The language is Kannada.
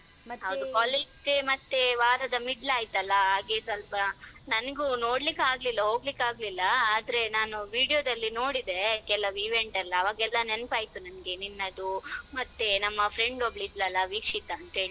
College day ಮತ್ತೆ ವಾರದ middle ಆಯ್ತಲ್ಲ ಹಾಗೆ ಸ್ವಲ್ಪ ನನ್ಗು ನೋಡ್ಲಿಕೆ ಆಗ್ಲಿಲ್ಲಹೋಗ್ಲಿಕ್ಕಾಗ್ಲಿಲ್ಲ ಆದ್ರೆ ನಾನು video ದಲ್ಲಿ ನೋಡಿದೆ ಕೆಲವ್ event ಎಲ್ಲ ಅವಾಗ ಎಲ್ಲ ನೆನ್ಪಾಯ್ತು ನನ್ಗೆ ನಿನ್ನದು ಮತ್ತೆ ನಮ್ಮ friend ಒಬ್ಳು ಇದ್ಲಲ್ಲ ವೀಕ್ಷಿತ ಅಂತ್ ಹೇಳಿ.